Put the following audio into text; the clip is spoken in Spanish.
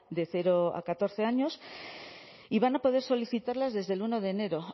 de cero a catorce años y van a poder solicitarlas desde el uno de enero